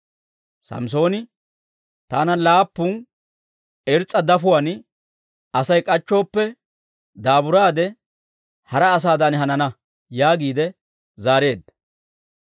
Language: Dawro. Samssooni, «Taana laappun irs's'a dafotuwaan Asay k'achchooppe, daaburaade, hara asaadan hanana» yaagiide zaareedda.